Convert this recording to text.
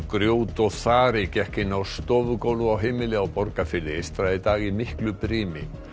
grjót og þari gekk inn á á heimili á Borgarfirði eystra í dag í miklu brimi